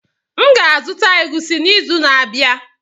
M ga-azụta egwusi n'izu na-abịa.